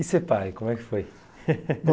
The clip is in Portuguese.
E ser pai, como é que foi